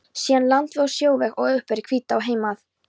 Síðan landveg og sjóveg og uppeftir Hvítá heim að